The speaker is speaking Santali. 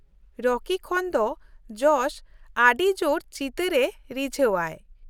ᱨᱚᱠᱤ ᱠᱷᱚᱱ ᱫᱚ ᱡᱚᱥ ᱟᱹᱰᱤ ᱡᱳᱨ ᱪᱤᱛᱟᱹᱨᱮ ᱨᱤᱡᱷᱟᱹᱣᱟᱭ ᱾